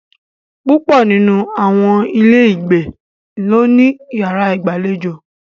Púpọ̀ nínú àwọn ilé ìgbé ló ní yàrá ìgbàlejò.